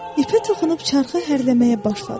İpə toxunub çarxı hərləməyə başladı.